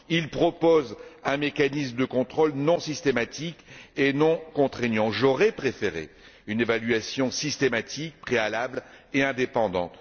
Il propose un mécanisme de contrôle non systématique et non contraignant. J'aurais préféré une évaluation systématique préalable et indépendante.